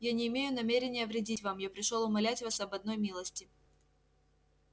я не имею намерения вредить вам я пришёл умолять вас об одной милости